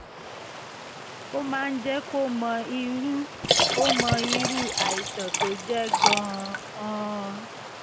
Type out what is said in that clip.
ó máa jẹ́ kó o mọ irú o mọ irú àìsàn tó jẹ́ gan-an